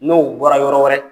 N'o bɔra yɔrɔ wɛrɛ